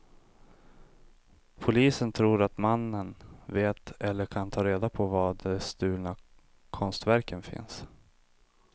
Polisen tror att mannen vet eller kan ta reda på var de stulna konstverken finns.